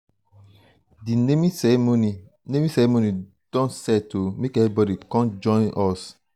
um di naming ceremony naming ceremony don um set o make everybodi com join um us.